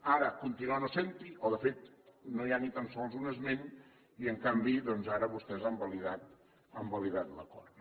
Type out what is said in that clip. ara continua no sent hi o de fet no hi ha ni tan sols un esment i en canvi doncs ara vostès han validat l’acord